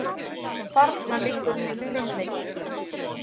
Þarna liggur minn frumleiki.